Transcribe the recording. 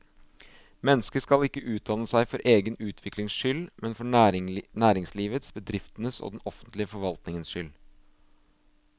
Mennesket skal ikke utdanne seg for egen utviklings skyld, men for næringslivets, bedriftenes og den offentlige forvaltningens skyld.